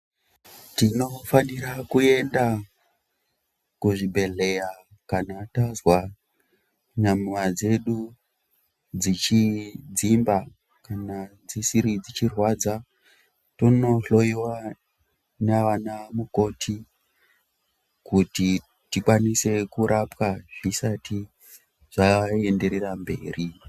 Tinofanira kuenda kuzvibhedhlera kana tazwa nyama dzedu dzichidzimba kana dzichirwadza tonohloyiwa navana mukoti kuti tikwanise kurapwa zvisati zvaenderera mberi.